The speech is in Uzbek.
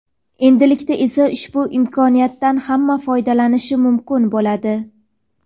endilikda esa ushbu imkoniyatdan hamma foydalanishi mumkin bo‘ladi.